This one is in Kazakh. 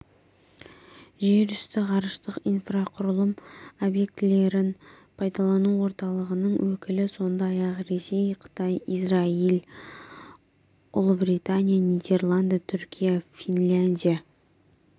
жерүсті ғарыштық инфрақұрылым объектілерін пайдалану орталығының өкілі сондай-ақ ресей қытай израиль ұлыбритания нидерланды түркия финляндия